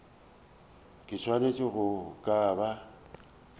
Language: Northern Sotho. ke swanetše go ka ba